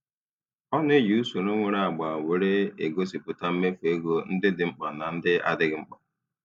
Ọ na-eji usoro nwere agba were egosịpụta mmefu ego ndị dị mkpa na ndị adịghị mkpa.